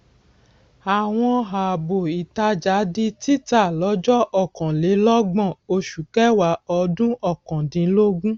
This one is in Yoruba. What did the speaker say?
àwọn ààbò ìtajà di títà lọjọ ọkanlélọgbọn oṣù kẹwàá ọdún ọkàn dínlógún